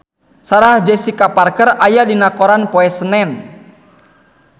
Sarah Jessica Parker aya dina koran poe Senen